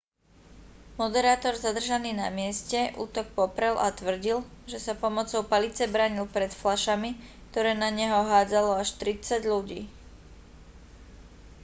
moderátor zadržaný na mieste útok poprel a tvrdil že sa pomocou palice bránil pred fľašami ktoré na neho hádzalo až tridsať ľudí